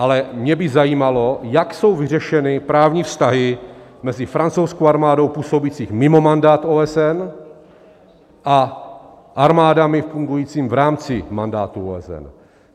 Ale mě by zajímalo, jak jsou vyřešeny právní vztahy mezi francouzskou armádou působící mimo mandát OSN a armádami fungujícími v rámci mandátu OSN.